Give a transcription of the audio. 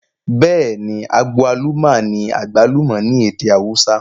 Bêẹ̀ni, agwaluma ní àgbálùmọ̀ ní èdè awúsá